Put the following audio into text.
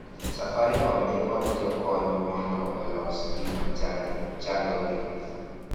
safaricom nikod jokony mondo olos gima chando gi